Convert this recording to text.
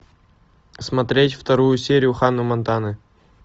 смотреть вторую серию ханна монтана